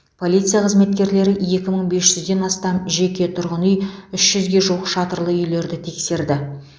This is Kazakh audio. полиция қызметкерлері екі мың бес жүзден астам жеке тұрғын үй үш жүзге жуық шатырлы үйлерді тексерді